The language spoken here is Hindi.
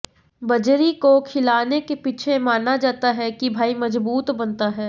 बजरी को खिलाने के पीछे माना जाता है कि भाई मजबूत बनता है